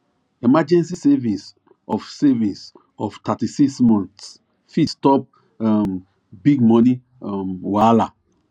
emergency savings of savings of 36 months fit stop um big money um wahala